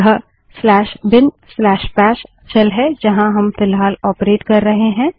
यह bin bash shell है जहाँ हम फ़िलहाल ऑपरेट कर रहे हैं